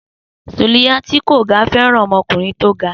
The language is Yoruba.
Sùlíyá tí kò ga fẹràn ọmọkùnrin tó ga